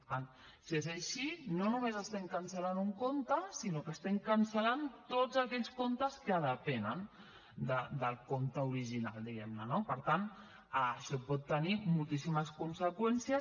per tant si és així no només estem cancel·lant un compte sinó que estem cancel·lant tots aquells comptes que depenen del compte original diguem ne no per tant això pot tenir moltíssimes conseqüències